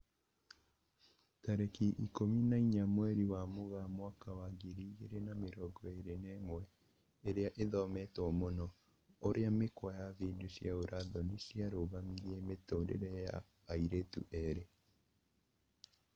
Tarĩki ikũmi na inya mweri wa Mũgaa mwaka wa ngiri igĩri na mĩrongo ĩri na ĩmwe, ĩria ĩthometwo mũno: ũrĩa mĩkwa ya video cia ũra thoni ciarũgamirie mũtũrĩre wa airĩtu erĩ